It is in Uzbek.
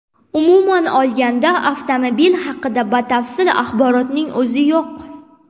Umuman olganda, avtomobil haqida batafsil axborotning o‘zi yo‘q.